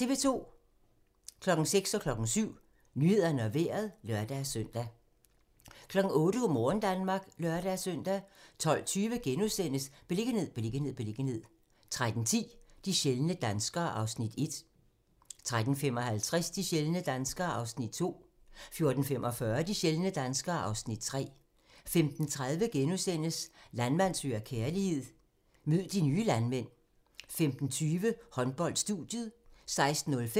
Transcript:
06:00: Nyhederne og Vejret (lør-søn) 07:00: Nyhederne og Vejret (lør-søn) 08:00: Go' morgen Danmark (lør-søn) 12:20: Beliggenhed, beliggenhed, beliggenhed * 13:10: De sjældne danskere (Afs. 1) 13:55: De sjældne danskere (Afs. 2) 14:45: De sjældne danskere (Afs. 3) 15:30: Landmand søger kærlighed - mød de nye landmænd * 15:50: Håndbold: Studiet 16:05: Håndbold